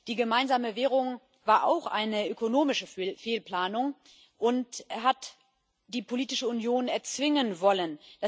Die gemeinsame Währung war auch eine ökonomische Fehlplanung und hat die politische Union erzwingen wollen.